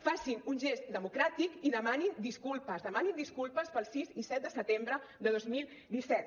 facin un gest democràtic i demanin disculpes demanin disculpes pel sis i set de setembre de dos mil disset